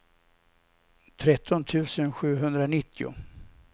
tretton tusen sjuhundranittio